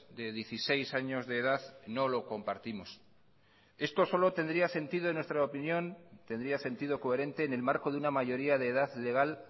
de dieciséis años de edad no lo compartimos esto solo tendría sentido en nuestra opinión tendría sentido coherente en el marco de una mayoría de edad legal